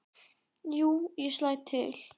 Jú, ég slæ til